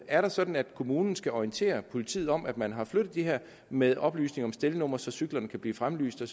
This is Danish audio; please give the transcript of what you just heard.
er det sådan at kommunen skal orientere politiet om at man har flyttet dem her med oplysning om stelnumre så cyklerne kan blive fremlyst og